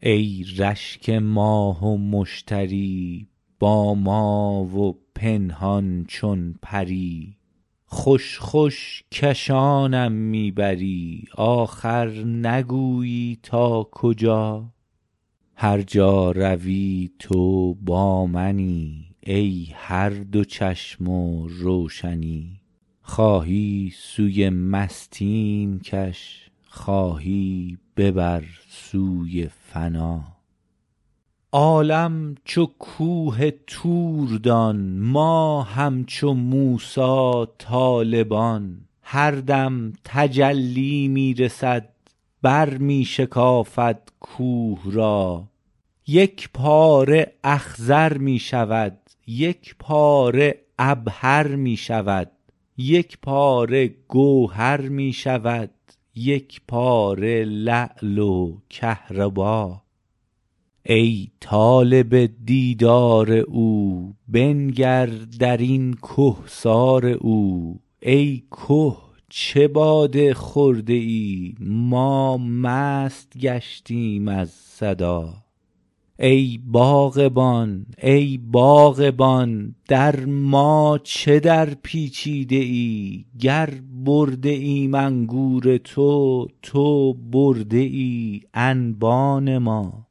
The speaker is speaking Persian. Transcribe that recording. ای رشک ماه و مشتری با ما و پنهان چون پری خوش خوش کشانم می بری آخر نگویی تا کجا هر جا روی تو با منی ای هر دو چشم و روشنی خواهی سوی مستیم کش خواهی ببر سوی فنا عالم چو کوه طور دان ما همچو موسی طالبان هر دم تجلی می رسد برمی شکافد کوه را یک پاره اخضر می شود یک پاره عبهر می شود یک پاره گوهر می شود یک پاره لعل و کهربا ای طالب دیدار او بنگر در این کهسار او ای که چه باده خورده ای ما مست گشتیم از صدا ای باغبان ای باغبان در ما چه درپیچیده ای گر برده ایم انگور تو تو برده ای انبان ما